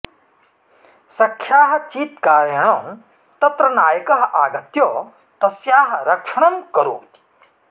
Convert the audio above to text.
सख्याः चीत्कारेण तत्र नायकः आगत्य तस्याः रक्षणं करोति